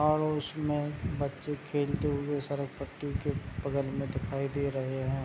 और उसमे बच्चे खेलते हुए सड़क पट्टी के बगल मे दिखाई दे रहे है।